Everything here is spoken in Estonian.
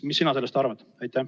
Mida sina sellest arvad?